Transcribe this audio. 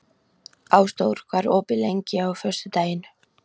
Ásdór, hvað er opið lengi á föstudaginn?